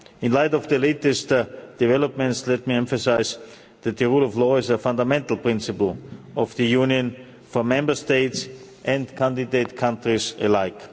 In the light of the latest developments, let me emphasise that the rule of law is a fundamental principle of the Union, for Member States and candidate countries alike.